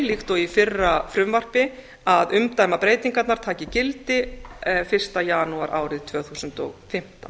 líkt og í fyrra frumvarpi að umdæmabreytingarnar taki gildi fyrsta janúar árið tvö þúsund og fimmtán